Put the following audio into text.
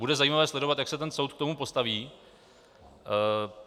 Bude zajímavé sledovat, jak se ten soud k tomu postaví.